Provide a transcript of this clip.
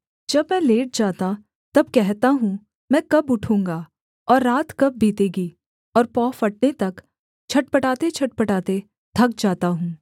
जब मैं लेट जाता तब कहता हूँ मैं कब उठूँगा और रात कब बीतेगी और पौ फटने तक छटपटातेछटपटाते थक जाता हूँ